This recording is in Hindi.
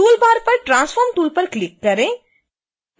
toolbar पर transform tool पर क्लिक करें